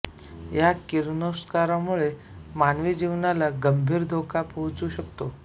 या किरणोत्सर्गामुळे मानवी जीवनाला गंभीर धोका पोहोचू शकतो